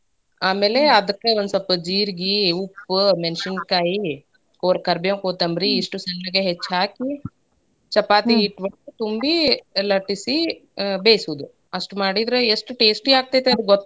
ಆಮ್ಯಾಲೇ ಅದ್ಕ ಒಂದ್ ಸ್ವಲ್ಪ್ ಜೀರಿಗಿ, ಉಪ್ಪು, ಮೆಣ್ಸಿನಕಾಯಿ ಪೋರ್~ ಕರ್ಬೇವು ಕೋತ್ತಂಬ್ರಿ ಇಷ್ಟು ಚಂದಗೆ ಹೆಚ್ಚಿ ಹಾಕಿ ಚಪಾತಿ ಹಿಟ್ಟೊಳಗ ತುಂಬಿ ಲಟ್ಸಿ ಅಹ್ ಬೇಯ್ಸುದು ಅಷ್ಟ್ ಮಾಡಿದ್ರ ಎಷ್ಟ್ taste ಆಗ್ತೇತಿ ಅದು ಗೊತ್ತೇ.